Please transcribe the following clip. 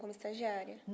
Como estagiária?